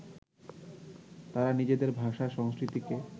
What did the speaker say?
তারা নিজেদের ভাষা, সংস্কৃতিকে